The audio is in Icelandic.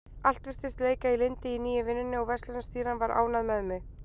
Allt virtist leika í lyndi í nýju vinnunni og verslunarstýran var ánægð með mig.